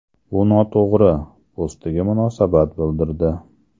Bu noto‘g‘ri!” postiga munosabat bildirdi .